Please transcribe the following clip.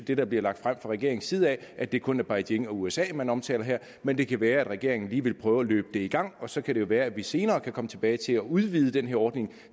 det der bliver lagt frem fra regeringens side er at det kun er beijing og usa man omtaler her men det kan være at regeringen lige vil prøve at løbe det i gang og så kan det jo være at vi senere kan komme tilbage til at udvide den her ordning